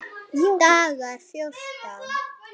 Dagar fjórtán